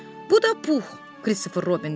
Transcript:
Bu da Pux, Kristofer Robin dedi.